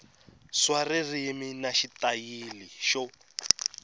swa ririmi na xitayili xo